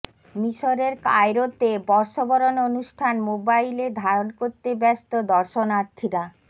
মিশরের কায়রোতে বর্ষবরণ অনুষ্ঠান মোবাইলে ধারণ করতে ব্যস্ত দর্শনার্থীরা